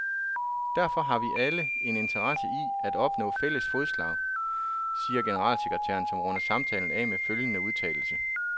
Derfor har vi alle en interesse i at opnå fælles fodslag, siger generalsekretæren, som runder samtalen af med følgende udtalelse.